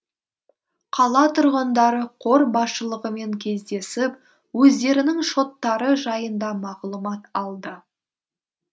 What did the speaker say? қала тұрғындары қор басшылығымен кездесіп өздерінің шоттары жайында мағлұмат алды